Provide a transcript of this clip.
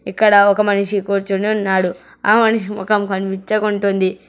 ఇక్కడ ఒక మనిషి కూర్చుని ఉన్నాడు ఆ మనిషి మొఖం కనిపిచ్చకుంటుంది.